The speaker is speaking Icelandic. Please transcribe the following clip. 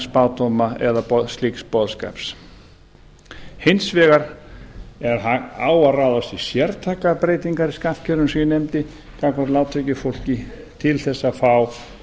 spádóma eða slíks boðskaps hins vegar á að ráðast í sértækar breytingar í skattkerfinu sem ég nefndi gagnvart lágtekjufólki til þess að fá